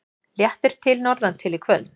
Léttir til norðantil í kvöld